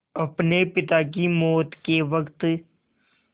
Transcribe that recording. अपने पिता की मौत के वक़्त